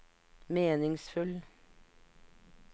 meningsfull